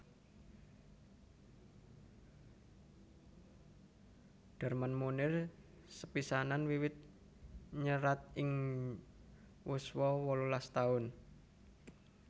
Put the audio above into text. Darman Moenir sepisanan wiwit nyerat ing yuswa wolulas taun